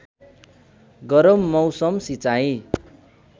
गरम मौसम सिँचाइ